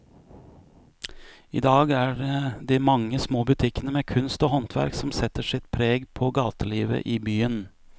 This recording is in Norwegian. I dag er det de mange små butikkene med kunst og håndverk som setter sitt preg på gatelivet i byen.